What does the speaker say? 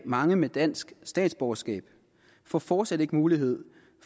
mange med dansk statsborgerskab får fortsat ikke mulighed